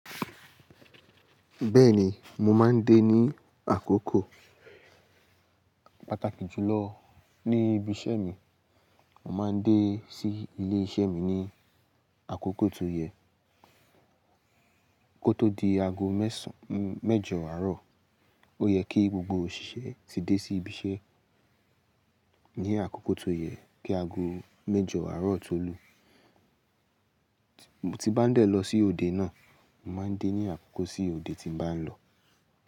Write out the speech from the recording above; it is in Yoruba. Bẹ́ẹ̀ni, mo máa ń dé ní àkókò pàtàkì jù lọ ní ibi iṣẹ́ mi. Mo máa ń dé sí ilé iṣẹ́ mi ní àkókò tó yẹ kó tó di aago mésàn mẹ́jọ àárọ̀. Ó yẹ kí gbogbo òṣìṣẹ́ ti dé sí ibi iṣẹ́ ní àkókò tó yẹ kí aago mẹ́jọ àárọ̀ tó lù. Mo ti bá ń dẹ̀ lọ sí òde náà, mo máa ń dé ní àkókò sí odé ti bá ń lọ.